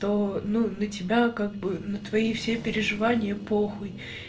то ну на тебя как бы на твои все переживания похуй